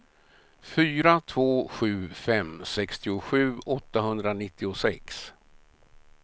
fyra två sju fem sextiosju åttahundranittiosex